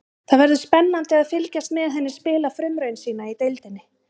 Það verður spennandi að fylgjast með henni spila frumraun sína í deildinni.